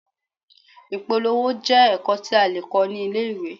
Ìpolówó jẹ́ ẹ̀kọ́ tí a lè kọ́ ní ilé-ìwé.